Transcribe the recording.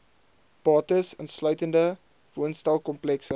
bates insluitende woonstelkomplekse